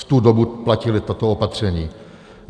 V tu dobu platí toto opatření.